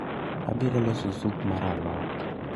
Abiro loso sup mar alot